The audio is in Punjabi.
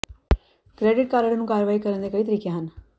ਕ੍ਰੈਡਿਟ ਕਾਰਡ ਨੂੰ ਕਾਰਵਾਈ ਕਰਨ ਦੇ ਕਈ ਤਰੀਕੇ ਹਨ